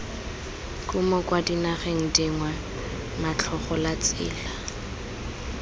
kumo kwa dinageng dingwe motlhagolatsela